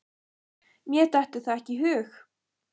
Mér dettur það ekki í hug.